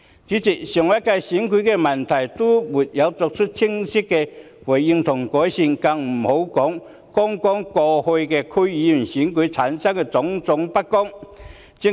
主席，上屆立法會選舉的問題尚且沒有得到清晰的回應和改善，剛過去區議會選舉出現的種種不公就更不用說。